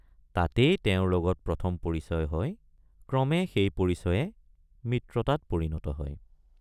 তাতেই তেওঁৰ লগত প্ৰথম পৰিচয় হয় ক্ৰমে সেই পৰিচয়ে মিত্ৰতাত পৰিণত হয়।